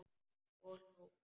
Og hló.